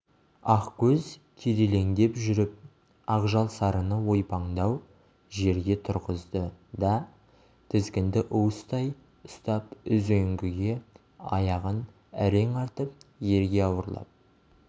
ақкөз кирелеңдеп жүріп ақжал сарыны ойпаңдау жерге тұрғызды да тізгінді уыстай ұстап үзеңгіге аяғын әрең артып ерге ауырлап